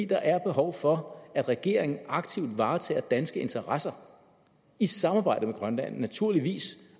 der er behov for at regeringen aktivt varetager danske interesser i samarbejde med grønland naturligvis